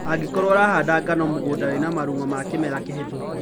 Angĩkorwo ũrahanda ngano mũgũnda wĩna marung'o ma kĩmera kĩhĩtũku